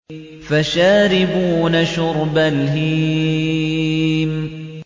فَشَارِبُونَ شُرْبَ الْهِيمِ